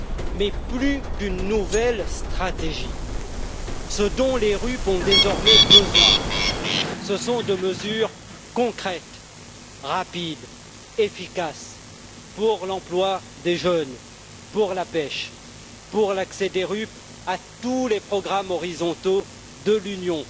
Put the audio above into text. Mais plus que d'une nouvelle stratégie, ce dont les RUP ont désormais besoin, cest de mesures concrètes, rapides et efficaces pour l'emploi des jeunes, pour la pêche, pour leur accès à tous les programmes horizontaux de l'Union